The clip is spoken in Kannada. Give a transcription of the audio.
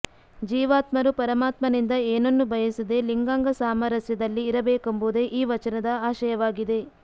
ಜೀವಾತ್ಮರು ಪರಮಾತ್ಮನಿಂದ ಏನನ್ನೂ ಬಯಸದೆ ಲಿಂಗಾಂಗಸಾಮರಸ್ಯದಲ್ಲಿ ಇರಬೇಕೆಂಬುದೇ ಈ ವಚನದ ಆಶಯವಾಗಿದೆ